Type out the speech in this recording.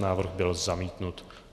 Návrh byl zamítnut.